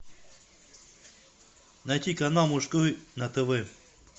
найти канал мужской на тв